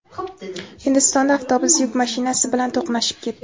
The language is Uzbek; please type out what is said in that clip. Hindistonda avtobus yuk mashinasi bilan to‘qnashib ketdi.